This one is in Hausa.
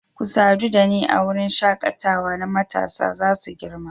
Ku sadu da ni a wurin shakatawa na matasa za su girma